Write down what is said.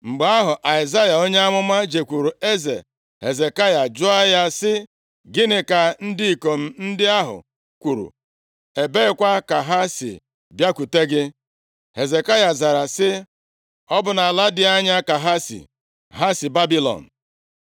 Mgbe ahụ, Aịzaya onye amụma jekwuru eze Hezekaya jụọ ya sị, “Gịnị ka ndị ikom ndị ahụ kwuru? Ebeekwa ka ha si bịakwute gị?” Hezekaya zara sị, “Ọ bụ nʼala dị anya ka ha si, ha si Babilọn.”